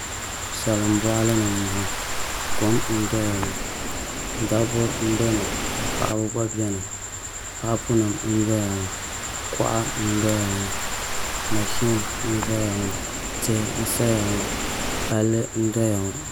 Salin boɣali ni n boŋo kom n doya ŋo dabba n bɛ ni ka paɣaba gba biɛni paapu nim n doya maa kuɣa n doya maa mashin n ʒɛya maa tihi n saya maa palli n doya ŋo